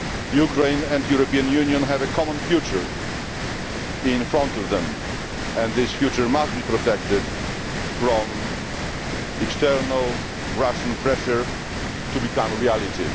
Ukraine and the European Union have a common future in front of them and this future must be protected from external Russian pressure, to become a reality.